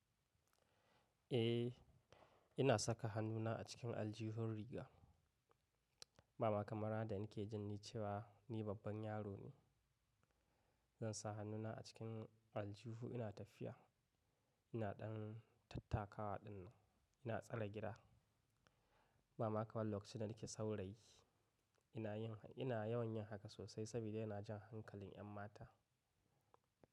Eh ina saka hannuna a cikin aljihun riga, bama kamar da ina jin cewa ni babban yaro ne. Zan sa hannuna a cikin aljihu ina tafiya, ina ɗan tattakawa ɗin nan, ina tsare gida, ba ma kamar lokacin da nake saurayi. Ina yin, ina yawan yin haka sosai saboda yana jan hankalin yan mata.